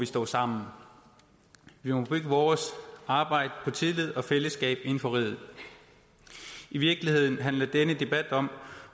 stå sammen vi må bygge vores arbejde på tillid og fællesskab inden for riget i virkeligheden handler denne debat om